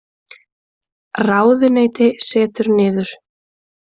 Ráðuneyti setur niður